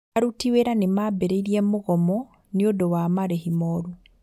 Aruti wĩra nĩmambĩrĩirie mũgomo nĩũndu wa marĩhi moru